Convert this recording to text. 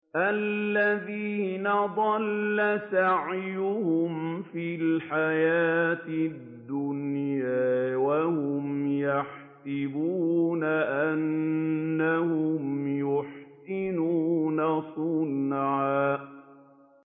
الَّذِينَ ضَلَّ سَعْيُهُمْ فِي الْحَيَاةِ الدُّنْيَا وَهُمْ يَحْسَبُونَ أَنَّهُمْ يُحْسِنُونَ صُنْعًا